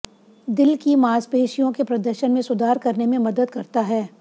दिल की मांसपेशियों के प्रदर्शन में सुधार करने में मदद करता है